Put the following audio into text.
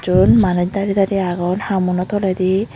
eyod manus daray daray agon hamuno tolay di.